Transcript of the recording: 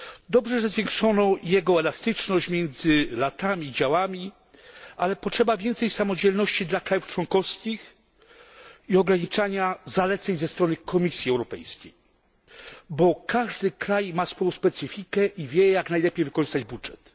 Dobrze, że zwiększono jego elastyczność między latami i działami, ale potrzeba więcej samodzielności dla państw członkowskich i ograniczania zaleceń ze strony Komisji Europejskiej, bo każdy kraj ma swoją specyfikę i wie, jak najlepiej wykorzystać budżet.